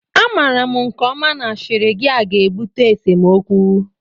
Amara m nke ọma na ashịrị gia ga-ebute esemokwu